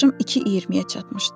Yaşım iki iyirmiyə çatmışdı.